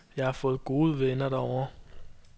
Jeg har fået gode venner derovre.